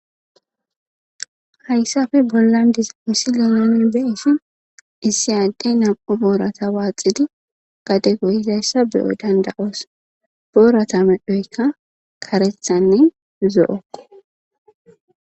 hayssafe bollandis misilinone beisi issi adde nam7u boorata waaxidi gade goyizayssa beyo danda7oos boorata medhoykka karethanne zo7okko